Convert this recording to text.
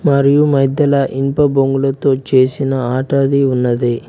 మరియు మధ్యల ఇనుప బొంగులతో చేసిన ఆటది ఉన్నది.